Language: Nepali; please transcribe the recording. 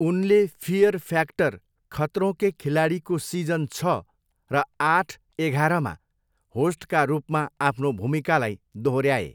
उनले फियर फ्याक्टर, खतरों के खिलाडीको सिजन छ र आठ एघाह्रमा होस्टका रूपमा आफ्नो भूमिकालाई दोहोऱ्याए।